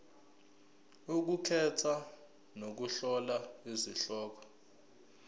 ukukhetha nokuhlola izihloko